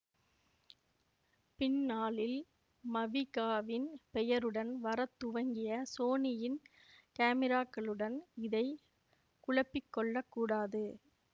பின்னாளில் மவிகாவின் பெயருடன் வரத்துவங்கிய சோனியின் காமிராக்களுடன் இதை குழப்பி கொள்ள கூடாது